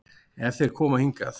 Ef þeir koma hingað.